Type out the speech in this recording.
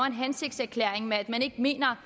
en hensigtserklæring om at man ikke mener